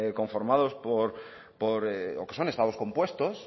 conformados o que son estados compuestos